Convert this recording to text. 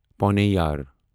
پونیار